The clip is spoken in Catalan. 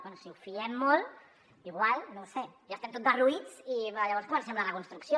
bé si ho fiem molt igual no ho sé ja estem tots derruïts i llavors comencem la reconstrucció